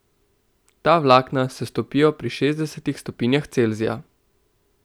Ta vlakna se stopijo pri šestdesetih stopinjah Celzija.